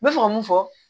N bɛ fɛ ka mun fɔ